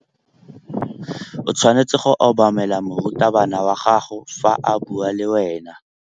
O tshwanetse go obamela morutabana wa gago fa a bua le wena.